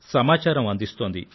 సమాచారం అందిస్తోంది